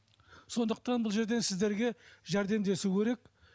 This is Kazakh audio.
сондықтан бұл жерден сіздерге жәрдемдесу керек